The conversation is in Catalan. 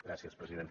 gràcies president